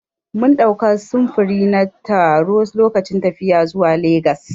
Mun ɗauka sufuri na taro lokacin tafiya zuwa legas.